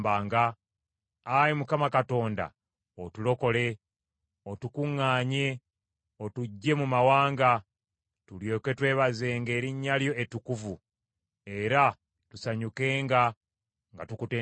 Ayi Mukama Katonda, otulokole, otukuŋŋaanye, otuggye mu mawanga, tulyoke twebazenga erinnya lyo ettukuvu, era tusanyukenga nga tukutendereza.